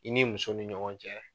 I ni muso ni ɲɔgɔn cɛ.